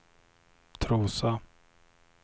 Trosa